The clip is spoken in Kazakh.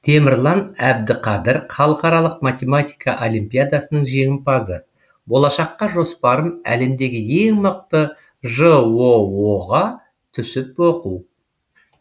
темірлан әбдіқадыр халықаралық математика олимпиадасының жеңімпазы болашаққа жоспарым әлемдегі ең мықты жоо ға түсіп оқу